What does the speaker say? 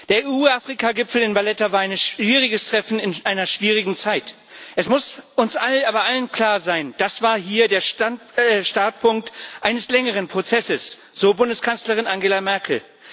Der EU Afrika Gipfel in Valletta war ein schwieriges Treffen in einer schwierigen Zeit. Es muss uns aber allen klar sein Das war hier der Startpunkt eines längeren Prozesses so Bundeskanzlerin Angela Merkel.